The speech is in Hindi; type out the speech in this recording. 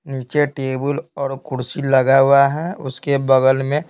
नीचे टेबल और कुर्सी लगा हुआ है उसके बगल में --